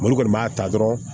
Olu kɔni b'a ta dɔrɔn